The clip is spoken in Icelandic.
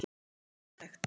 Mér finnst þetta ótækt.